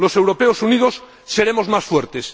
Los europeos unidos seremos más fuertes.